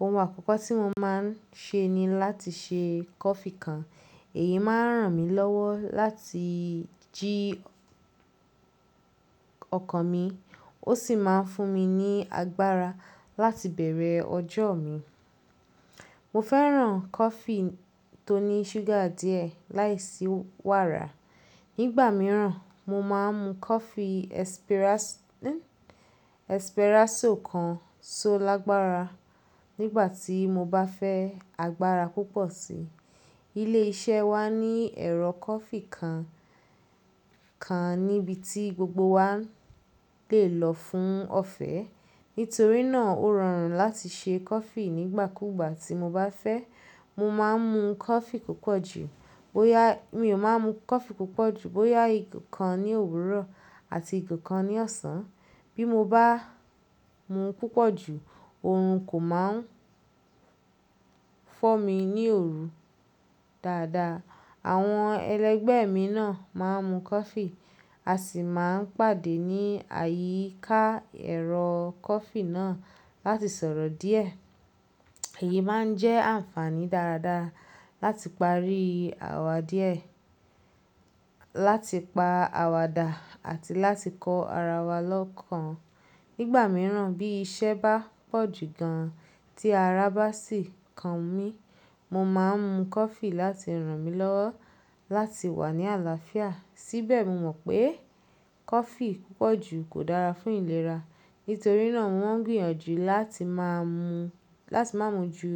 ohun àkọ́kọ́ tí mo máa ń ṣe ni láti ṣe coffee kan. Èyí máa ń ràn mí lọ́wọ́ láti jí ọkàn mi, ó sì máa ń fún mi ní agbára láti bẹ̀rẹ̀ ọjọ́ mi. Mo fẹ́ràn coffee tó ní ṣúgà díẹ̀ láìsí wàrà. Nígbà mìíràn, mo máa ń mu coffee espresso kan so lágbára nígbà tí mo bá fẹ́ agbára púpọ̀ síi. Ilé iṣẹ́ wa ní ẹ̀rọ coffee kan kan níbi tí gbogbo wa lè lọ fún ọ̀fẹ́. Nítorí náà ó rọrùn láti ṣe coffee nígbàkúgbà tí mo bá fẹ́. Mo máa ń mu coffee púpọ̀ jù, bóyá mi ò máa ń mu coffee púpọ̀ jù, bóyá ìkan ní òwúrọ̀ àti ìkan ní ọ̀sán. Bí mo bá mu púpọ̀ jù, òorun kò máa ń fọ́ mi ní òru dáadáa. Àwọn ẹlẹgbẹ́ mi náà máa ń mu coffee a sì máa ń pàdé ní àyíká ẹ̀rọ coffee náà láti sọ̀rọ̀ díẹ̀. Èyí máa ń jẹ́ ànfàaní dáradára láti parí àwàdíẹ̀, láti pa àwàdà àti láti kọ ara wa lọ́kàn. Nígbà mìíràn bí iṣẹ́ bá pọ̀ jù gan-an tí ara bá sì kan mí, mo máa ń mu coffee láti ràn mí lọ́wọ́ láti wà ní àlàáfíà. Síbẹ̀ mo mọ̀ pé coffee púpọ̀ jù kò dára fún ìlera. Nítorí náà mo ń gbìyànjú láti máa mu, láti má mu ju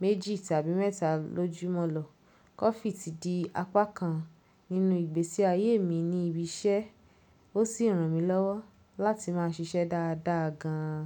méjì tàbí mẹ́ta lójúmọ́ lọ. Coffee ti di apá kan nínú ìgbésí ayé mi ní ibi iṣẹ́, ó sì ràn mí lọ́wọ́ láti máa ṣiṣẹ́ dáadáa gan-an.